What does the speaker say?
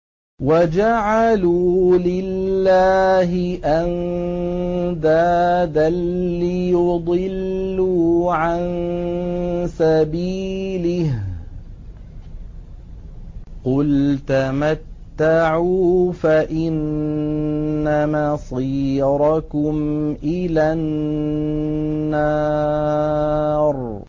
وَجَعَلُوا لِلَّهِ أَندَادًا لِّيُضِلُّوا عَن سَبِيلِهِ ۗ قُلْ تَمَتَّعُوا فَإِنَّ مَصِيرَكُمْ إِلَى النَّارِ